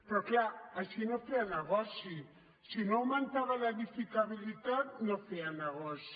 però és clar així no feia negoci si no augmentava l’edificabilitat no feia negoci